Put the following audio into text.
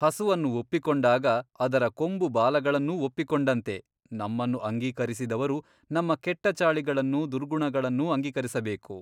ಹಸುವನ್ನು ಒಪ್ಪಿಕೊಂಡಾಗ ಅದರ ಕೊಂಬು ಬಾಲಗಳನ್ನೂ ಒಪ್ಪಿಕೊಂಡಂತೆ ನಮ್ಮನ್ನು ಅಂಗೀಕರಿಸಿದವರು ನಮ್ಮ ಕೆಟ್ಟ ಚಾಳಿಗಳನ್ನು ದುರ್ಗುಣಗಳನ್ನು ಅಂಗೀಕರಿಸಬೇಕು.